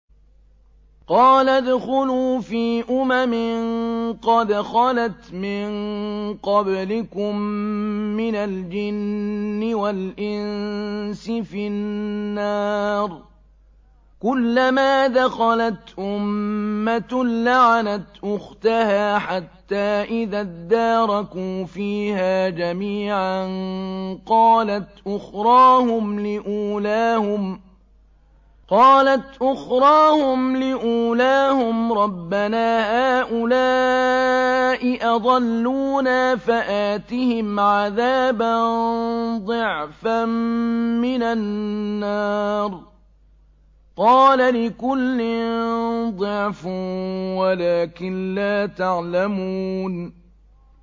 قَالَ ادْخُلُوا فِي أُمَمٍ قَدْ خَلَتْ مِن قَبْلِكُم مِّنَ الْجِنِّ وَالْإِنسِ فِي النَّارِ ۖ كُلَّمَا دَخَلَتْ أُمَّةٌ لَّعَنَتْ أُخْتَهَا ۖ حَتَّىٰ إِذَا ادَّارَكُوا فِيهَا جَمِيعًا قَالَتْ أُخْرَاهُمْ لِأُولَاهُمْ رَبَّنَا هَٰؤُلَاءِ أَضَلُّونَا فَآتِهِمْ عَذَابًا ضِعْفًا مِّنَ النَّارِ ۖ قَالَ لِكُلٍّ ضِعْفٌ وَلَٰكِن لَّا تَعْلَمُونَ